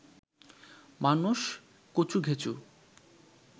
মানুষ কচুঘেঁচু